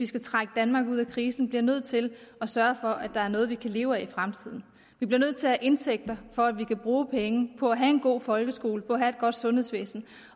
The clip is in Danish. skal trække danmark ud af krisen bliver nødt til at sørge for at der er noget at leve af i fremtiden vi bliver nødt til at have indtægter for at vi kan bruge penge på at have en god folkeskole på at have et godt sundhedsvæsen